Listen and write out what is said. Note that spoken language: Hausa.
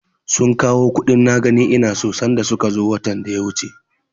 Sun kawo kuɗin na gani ina so sanda suka zo watan da ya wuce.